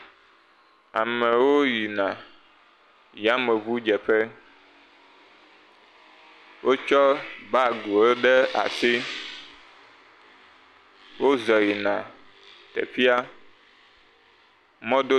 Amewo yina yameŋudzeƒe. Wotsɔ baagiwo ɖe asi. Wozɔ yina teƒea. Mɔdodo.